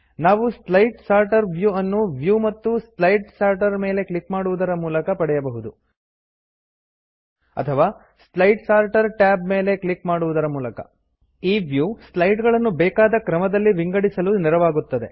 ನಾವು slide sorter view ಅನ್ನು view ಮತ್ತು ಸ್ಲೈಡ್ ಸಾರ್ಟರ್ ಮೇಲೆ ಕ್ಲಿಕ್ ಮಾಡುವದರ ಮೂಲಕ ಪಡೆಯ ಬಹುದು ಅಥವಾ ಸ್ಲೈಡ್ ಸಾರ್ಟರ್ ಟ್ಯಾಬ್ ಮೇಲೆ ಕ್ಲಿಕ್ ಮಾಡುವದರ ಮೂಲಕ ಈ ವ್ಯೂ ಸ್ಲೈಡ್ ಗಳನ್ನು ಬೇಕಾದ ಕ್ರಮದಲ್ಲಿ ವಿಂಗಡಿಸಲು ನೆರವಾಗುತ್ತದೆ